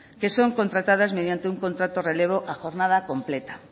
que son contratadas mediante un contrato relevo a jornada completa